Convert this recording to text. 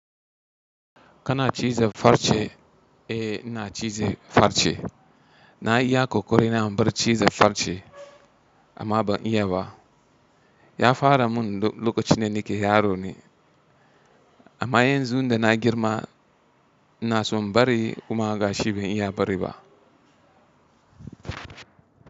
Kana ciza farce, eh ina cize farce. Na iya ƙoƙari na inbar ciza farce amma ban iya ba. Ya fara mun loƙacin da nake yaro ni, amma yanzu da na girma ina son bari kuma ga shi ban iya bari ba.